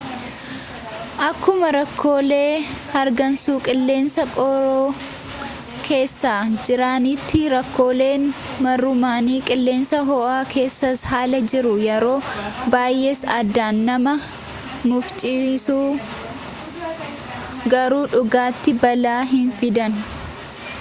akkuma rakkoolee hargansuu qilleensa qorraa keessaa jiranitti rakkooleen mar'ummaanii qilleensa ho'aa keessaas haalaan jiru yeroo baayyees addaan nama mufachiisu garuu dhugaatti balaa hin fidan